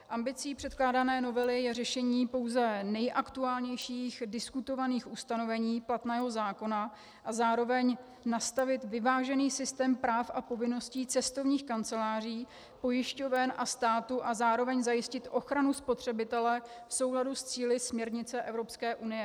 Ambicí předkládané novely je řešení pouze nejaktuálnějších diskutovaných ustanovení platného zákona a zároveň nastavit vyvážený systém práv a povinností cestovních kanceláří, pojišťoven a státu a zároveň zajistit ochranu spotřebitele v souladu s cíli směrnice Evropské unie.